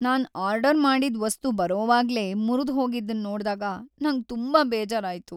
ನಾನ್ order ಮಾಡಿದ್ ವಸ್ತು ಬರೋವಾಗ್ಲೇ ಮುರ್ದ್ ಹೋಗಿದನ್ ನೋಡ್ದಾಗ ನಂಗ್ ತುಂಬಾ ಬೇಜಾರಾಯ್ತು.